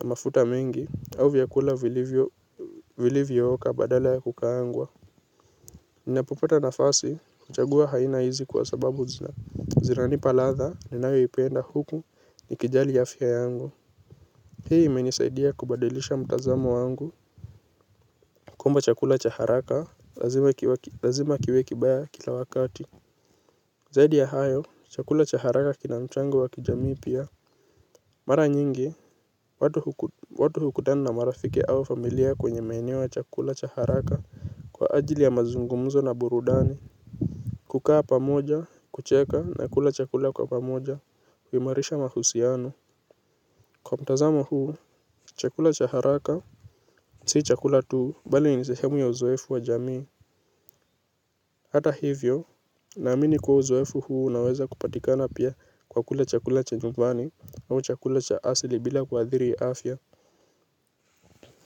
na mafuta mingi au vyakula vilivyo vilivyo oka badala ya kukaangwa. Ninapopeta nafasi. Uchagua haina hizi kwa sababu zina zina nipa latha. Ninayo ipenda huku. Nikijali afia yangu. Hii imenisaidia kubadilisha mtazamo wangu. Kuamba chakula chaharaka lazima kiwekibaya kila wakati. Zaidi ya hayo. Chakula chaharaka kina muchango wakijamii pia. Mara nyingi. Watu hukutana na marafiki awa familia kwenye maenewo ya chakula cha haraka. Kwa ajili ya mazungumzo na burudani. Kukaa pamoja, kucheka na kula chakula kwa pamoja. Uimarisha mahusiano. Kwa mtazamo huu, chakula cha haraka si chakula tuu, bali ni sehemu ya uzoefu wa jamii. Hata hivyo, naamini kwa uzoefu huu naweza kupatika na pia kwa kula chakula cha nyumbani au chakula cha asili bila kwa adhiri ya afya.